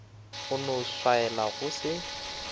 no go swaela go se